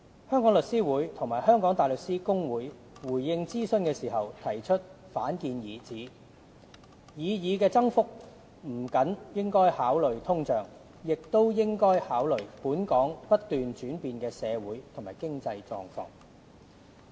香港律師會和香港大律師公會回應諮詢時提出反建議，指擬議增幅不僅應考慮通脹，亦應考慮"本港不斷轉變的社會和經濟狀況"。